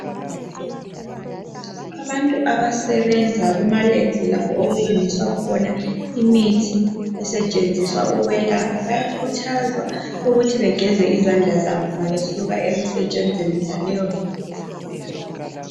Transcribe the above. abantu abasebenza kuma labs lapho okulungiswa khona imithi esetshenziswa ukwelapha bayakhuthazwa ukuthi begeze izandla nxabesuka ekusebenzini yonaleyo mithi